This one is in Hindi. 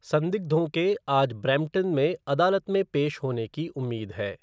संदिग्धों के आज ब्रैम्पटन में अदालत में पेश होने की उम्मीद है।